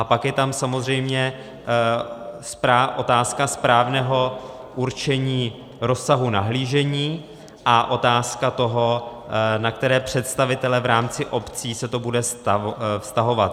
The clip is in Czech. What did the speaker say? A pak je tam samozřejmě otázka správného určení rozsahu nahlížení a otázka toho, na které představitele v rámci obcí se to bude vztahovat.